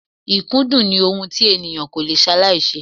Ikudun ni ohun tí ènìyàn ko lè salaise.